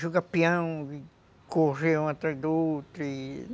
Jogar peão, correr um atrás do outro e...